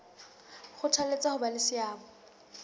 kgothaletsa ho ba le seabo